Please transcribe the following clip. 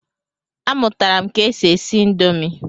A mụtara m ke e si esi indomi.